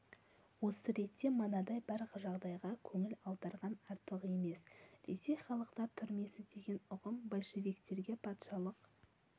осы ретте мынадай бір жағдайға көңіл аударған артық емес ресей халықтар түрмесі деген ұғым большевиктерге патшалық